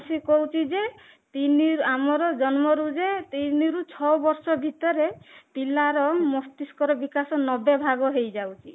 କହୁଛି ଯେ ତିନି ଆମର ଜନ୍ମରୁ ଯେ ତିନି ରୁ ଛଅ ବର୍ଷ ଭିତରେ ପିଲାର ମସ୍ତିଷ୍କ ର ବିକାଶ ନବେ ଭାଗ ହେଇଯାଉଛି